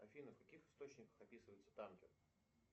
афина в каких источниках описывается танкер